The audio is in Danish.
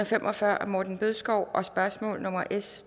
fem og fyrre af morten bødskov og spørgsmål nummer s